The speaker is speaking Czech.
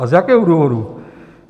A z jakého důvodu?